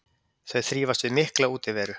Þau þrífast við mikla útiveru.